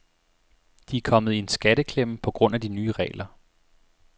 De er kommet i en skatteklemme på grund af de nye regler.